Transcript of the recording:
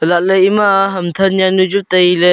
chat ley ema ham than jawnu chu tai ley.